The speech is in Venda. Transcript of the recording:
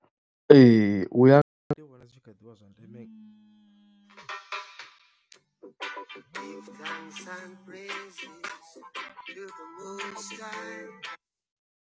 Ee u ya nga ha ṋne ndi vhona zwi tshi kha ḓivha zwa ndeme .